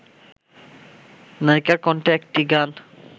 নায়িকার কণ্ঠে একটি গান